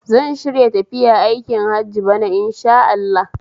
Zan shirya tafiya aikin hajj bana Insha Allah